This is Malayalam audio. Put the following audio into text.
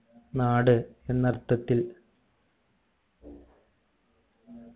നാട് എന്ന അർത്ഥത്തിൽ